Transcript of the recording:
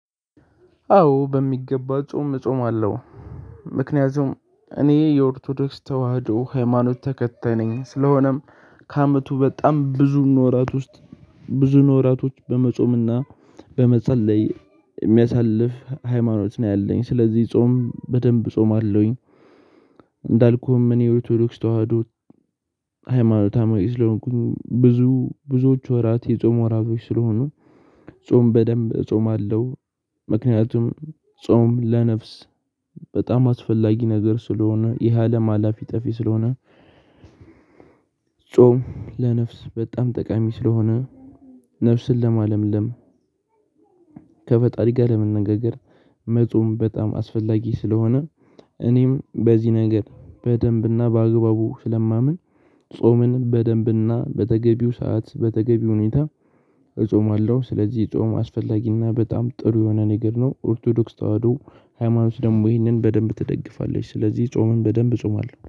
አዎ በሚገባ ጾም እጾም አለሁ ምክንያቱም እኔ የኦርቶዶክስ ተዋህዶ ሃይማኖት ተከታይ ነኝ ስለሆነም ከአመቱ በጣም ብዙ ውራት ውስጥ ብዙ ውራቶች በመጾምና በመጸለይ የሚያሳልፍ ሃይማኖት ነው ያለኝ ስለዚህ ጾም በደንብ እጾም አለሁኝ። እንዳልኩህም እኔ ኦርቶዶክስ ተዋህዶ ሃይማኖት አማኝ ለሆንኩኝ ብዙዎች ወራት የጾም ወራቶች ስለሆኑ ጾም በደንብ እጾማለሁ። ምክንያቱም ጾም ለነፍስ በጣም አስፈላጊ ነገር ስለሆነ ይሄ አለም ሀላፊ ጠፊ ስለሆነ። ጾም ለነፍስ በጣም ጠቃሚ ስለሆነ ነፍስን ለማለምለም ከፈጣሪ ጋር ለመነጋገር መጾም በጣም አስፈላጊ ስለሆነ። እኔም በዚህ ነገር በደንብና በአግባቡ ስለማምን ጾምን በደንብና በተገቢው ሰዓት በተገቢው ሁኔታ እጾማለሁ። ስለዚህ ጾም አስፈላጊና በጣም ጥሩ የሆነ ነገር ነው ኦርቶዶክስ ተዋህዶ ሃይማኖት ደግሞ ይህንን በደንብ ትደግፋለች ስለዚህ ጾምን በደንብ እጾማለሁ